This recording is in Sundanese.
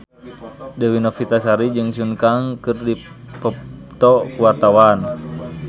Dewi Novitasari jeung Sun Kang keur dipoto ku wartawan